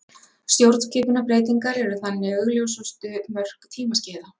Stjórnskipunarbreytingar eru þannig augljósustu mörk tímaskeiða.